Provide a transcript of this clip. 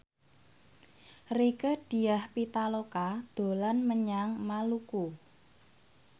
Rieke Diah Pitaloka dolan menyang Maluku